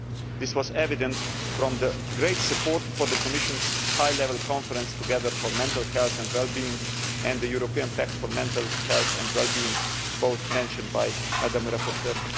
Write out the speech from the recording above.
This was evident from the great support for the Commission's high level conference Together for mental health and wellbeing' and the European Pact for Mental Health and Wellbeing, both of which were mentioned by the rapporteur.